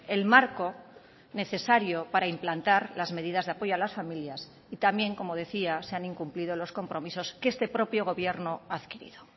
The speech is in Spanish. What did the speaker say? el marco necesario para implantar las medidas de apoyo a las familias y también como decía se han incumplido los compromisos que este propio gobierno ha adquirido